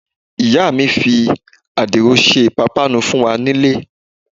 Ìyá mi fi adiro ṣe ipapanu fún wá nílé.